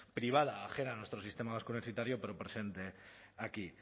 privada a nuestro sistema vasco universitario pero presente aquí